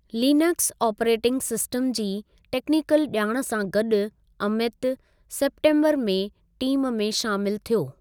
Linux operating system जी technical ॼाण सां गॾु अमित सेप्टेन्बरु में टीमु में शामिलु थियो।